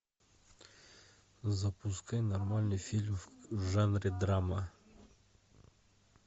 запускай нормальный фильм в жанре драма